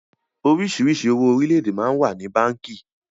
Oríṣiríṣi owó orílédé máa ń wà ní báńkì